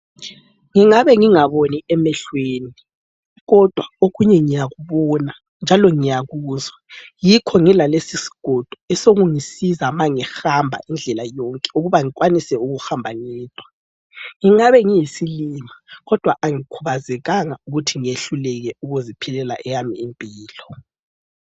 Ngingabe ngingaboni emehlweni kodwa okunye ngiyakubona njalo ngiyakuzwa yikho ngilalesisigodo esokungisiza ma ngihamba indlela yonke ukuba ngikwanise ukuhamba ngedwa. Ngingabe ngiyisilima kodwa agikhubazekanga ukuthi ngehluleke ukuziphilela eyami impilo.